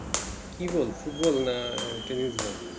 কি বল Football না Tenis বল